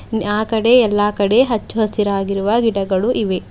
ಇಲ್ಲಿ ಆ ಕಡೆ ಎಲ್ಲಾ ಕಡೆ ಹಚ್ಚು ಹಸಿರಾಗಿರುವ ಗಿಡಗಳು ಇವೆ.